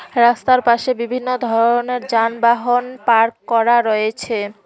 রাস্তার পাশে বিভিন্ন ধরনের যানবাহন পার্ক করা রয়েছে।